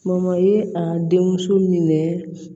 Mɔmɔ ye a den muso minɛ